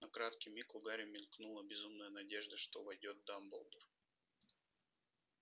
на краткий миг у гарри мелькнула безумная надежда что войдёт дамблдор